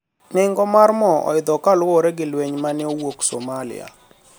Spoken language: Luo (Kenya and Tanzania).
nengo mar mo oidho kaluwore gi lweny mane owuok Somalia